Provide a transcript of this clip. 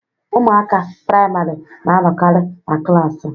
Ụmụaka priamarị na anọkari na klaasị.